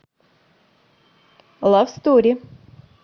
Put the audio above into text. лав стори